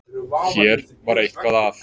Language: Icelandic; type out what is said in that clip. Hér var eitthvað að.